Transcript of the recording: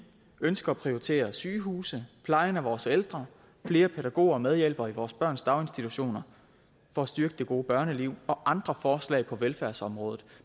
ønsker at prioritere sygehuse plejen af vores ældre flere pædagoger og medhjælpere i vores børns daginstitutioner for at styrke det gode børneliv og andre forslag på velfærdsområdet